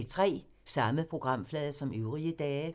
Samme programflade som øvrige dage